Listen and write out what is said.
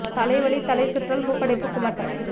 தலைவலி தலைசுற்றல் மூக்கடைப்பு குமட்டல்